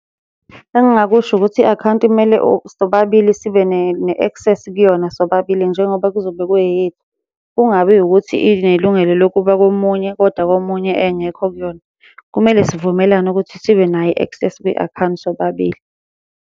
Engingakusho ukuthi i-akhawunti kumele sobabili sibe ne-access kuyona sobabili njengoba kuzobe ku eyethu. Kungabi ukuthi inelungelo lokuba komunye, koda komunye engekho kuyona. Kumele sivumelane ukuthi sibe nayo i-access kwi-akhawunti sobabili.